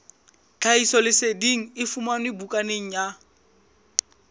tlhahisoleseding e fumanwe bukaneng ya